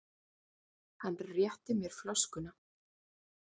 Hann rétti mér flöskuna.